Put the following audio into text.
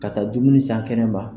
Ka taa dumuni san kɛnɛma.